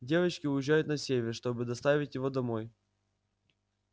девочки уезжают на север чтобы доставить его домой